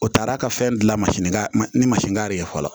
O taara ka fɛn dilan ni masini ka fɔlɔ